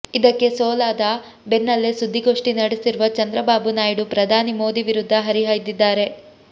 ಇದಕ್ಕೆ ಸೋಲಾದ ಬೆನ್ನಲ್ಲೇ ಸುದ್ದಿಗೋಷ್ಠಿ ನಡೆಸಿರುವ ಚಂದ್ರಬಾಬು ನಾಯ್ಡು ಪ್ರಧಾನಿ ಮೋದಿ ವಿರುದ್ಧ ಹರಿಹಾಯ್ದಿದ್ದಾರೆ